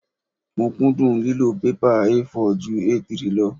Mo kúndùn lílo pẹ́pà A4 ju A3 lọ.